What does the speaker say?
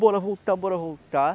Bora voltar, bora voltar.